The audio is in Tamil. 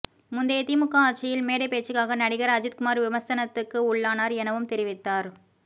முந்தைய திமுக ஆட்சியில் மேடை பேச்சுக்காக நடிகர் அஜித்குமார் விமர்சனத்துக்கு உள்ளானார் எனவும் தெரிவித்தார்